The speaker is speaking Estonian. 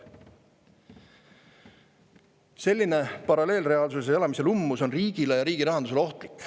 " Selline paralleelreaalsuses elamise lummus on riigile ja riigi rahandusele ohtlik.